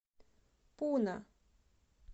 пуна